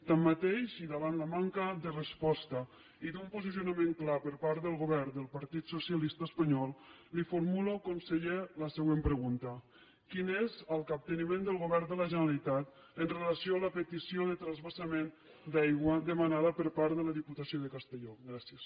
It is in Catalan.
tanmateix i davant la manca de resposta i d’un posicionament clar per part del govern del partit socialista espanyol li formulo conseller la següent pregunta quin és el capteniment del govern de la generalitat amb relació a la petició de transvasament d’aigua demanada per part de la diputació de castelló gràcies